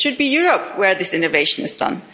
It should be Europe where this innovation is done.